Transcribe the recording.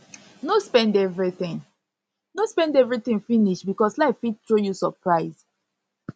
no spend everything no spend everything finish because life fit throw you surprise